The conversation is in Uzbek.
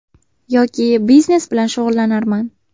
Yoki biznes bilan shug‘ullanarman.